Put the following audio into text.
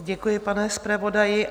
Děkuji, pane zpravodaji.